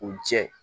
U jɛ